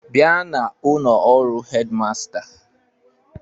Bịa na ụnọ ọrụ headmaster!